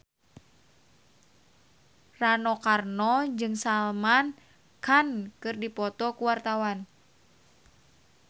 Rano Karno jeung Salman Khan keur dipoto ku wartawan